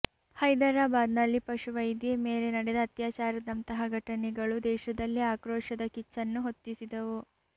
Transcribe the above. ಹೈದರಾಬಾದ್ನಲ್ಲಿ ಪಶುವೈದ್ಯೆ ಮೇಲೆ ನಡೆದ ಅತ್ಯಾಚಾರದಂತಹ ಘಟನೆಗಳು ದೇಶದಲ್ಲಿ ಆಕ್ರೋಶದ ಕಿಚ್ಚನ್ನು ಹೊತ್ತಿಸಿದ್ದವು